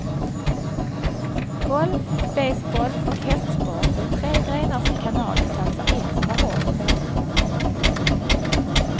Golf, baseball och hästsport är tre grenar som kanalen satsar extra hårt på.